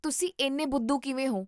ਤੁਸੀਂ ਇੰਨੇ ਬੁੱਧੂ ਕਿਵੇਂ ਹੋ?